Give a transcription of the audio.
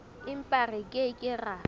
empa re ke ke ra